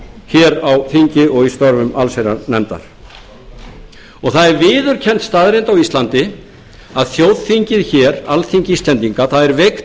hér á þingi og í störfum allsherjarnefndar það er viðurkennd staðreynd á íslandi að þjóðþingið hér alþingi íslendinga það er veikt